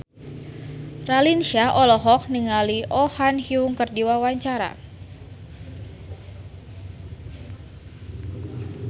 Raline Shah olohok ningali Oh Ha Young keur diwawancara